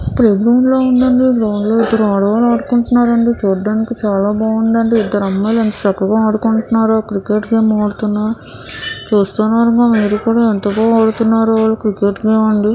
Play ground లా ఉందండి. Ground లో ఇద్దరు ఆడవాళ్ళు ఆడుకుంటున్నారండి. చూడడానికి చాలా బాగుందండి. ఇద్దరు అమ్మాయిలు ఎంత చక్కగా ఆడుకుంటున్నారు. క్రికెట్ గేమ్ ఆడుతున్నారు చూస్తే కనుక మీరు కూడా ఎంత బాగా ఆడుతున్నారో వాళ్లు క్రికెట్ గేమ్ అండి.